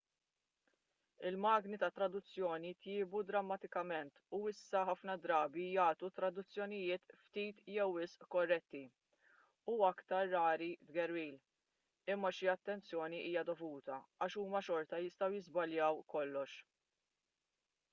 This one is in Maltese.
il-magni tat-traduzzjoni tjiebu drammatikament u issa ħafna drabi jagħtu traduzzjonijiet ftit jew wisq korretti u aktar rari tgerwil imma xi attenzjoni hija dovuta għax huma xorta jistgħu jiżbaljaw kollox